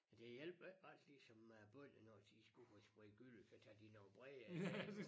Det hjælper ikke ret ligesom med æ bønner når de skulle sprede gylle så tager de nogen bredere dæk på